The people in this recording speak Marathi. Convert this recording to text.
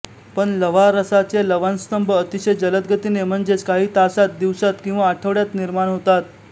पण लव्हारसाचे लवणस्तंभ अतिशय जलद गतीने म्हणजेच काही तासांत दिवसांत किंवा आठवड्यांत निर्माण होतात